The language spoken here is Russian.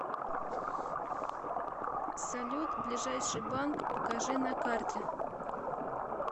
салют ближайший банк покажи на карте